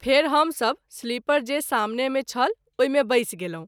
फेरि हम सभ सिलीपर जे सामने मे छल ओहि मे बैस गेलहुँ।